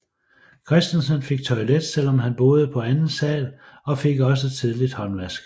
Christensen fik toilet selvom han boede på anden sal og fik også tidligt håndvask